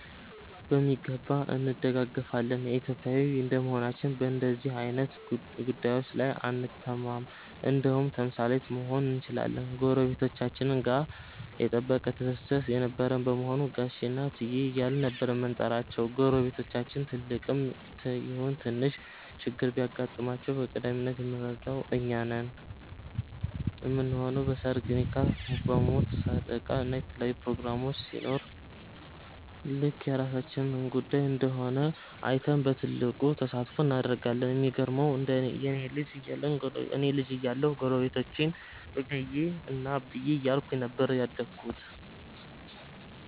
በሚገባ እንደጋገፋለን። ኢትዮጵያዊ እንደመሆናችን በንደዚህ አይነት ጉዳዬች ላይ አንታማም እንደውም ተምሳሌት መሆን እንችላለን። ጎረቤቶቻችን ጋ የጠበቀ ትስስር የነበረን በመሆኑ ጋሼ እና እትዬ እያልን ነበር የምንጠራቸው። ጎረቤቶቻችን ትልቅም ይሁን ትንሽ ችግር ቢገጥማቸው በቀዳሚነት የምንረዳው እኛ ነን ምንሆነው። በ ሰርግ፣ ኒካህ፣ ሞት፣ ሰደቃ እና የተለያዩ ፕሮግራሞች ሲኖር ልክ የራሳችን ጉዳይ እንደሆነ አይተን በትልቁ ተሳትፎ እናደርጋለን። የሚገርመው እኔ ልጅ እያለሁ ጎረቤቶቼን እምዬ እና አብዬ እያልኩኝ ነበር ያደግኩት።